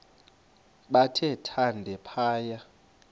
bathe thande phaya